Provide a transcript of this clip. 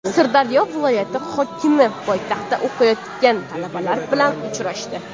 Sirdaryo viloyati hokimi poytaxtda o‘qiyotgan talabalar bilan uchrashdi.